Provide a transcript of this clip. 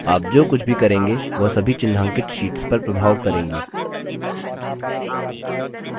आप जो कुछ भी करेंगे वह सभी चिन्हांकित शीट्स पर प्रभाव करेंगी